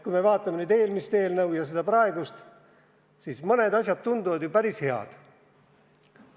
Kui me vaatame eelmist eelnõu ja seda praegust, siis mõned asjad tunduvad päris head.